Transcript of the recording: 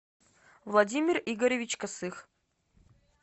владимир игоревич косых